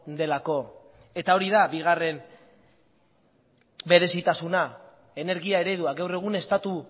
delako eta hori da bigarren berezitasuna energia eredua gaur egun estatu